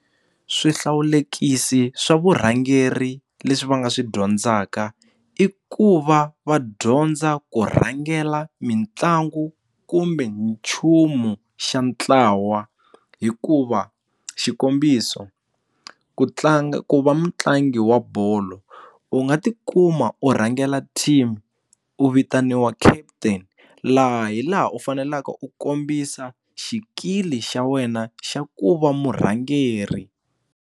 Swihlawulekisi swa vurhangeri leswi va nga swi dyondzaka i ku va va dyondza ku rhangela mitlangu kumbe nchumu xa ntlawa hikuva xikombiso ku tlanga ku va mutlangi wa bolo u nga tikuma u rhangela team u vitaniwa kaputeni laha hi laha u faneleke u kombisa xikili xa wena xa ku va murhangeri.